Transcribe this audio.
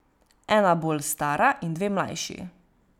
Ena bolj stara in dve mlajši.